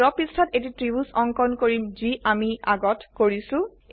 আমি ড্ৰ পৃষ্ঠাত এটি ত্ৰিভুজ অঙ্কন কৰিম যি আমি আগত কৰিছো